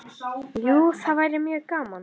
Jú, það væri mjög gaman.